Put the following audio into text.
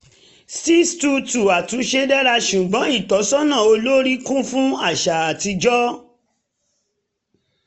six two two àtúnṣe dára ṣùgbọ́n ìtọ́sọ́nà olórí kún fún àṣà atijọ́